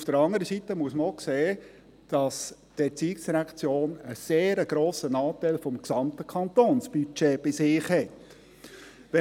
Auf der anderen Seite muss man auch sehen, dass die ERZ einen sehr grossen Anteil des gesamten Kantonsbudgets bei sich hat.